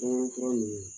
Fɛn fura nunnu